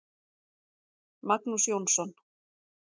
Magnús Jónsson.